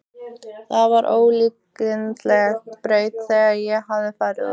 Það var ólíkindaleg braut sem ég hafði farið út á.